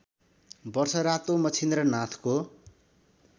वर्ष रातो मच्छिन्द्रनाथको